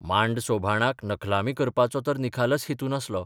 मांड सोभाणाक नखलामी करपाचो तर निखालस हेतू नासलो.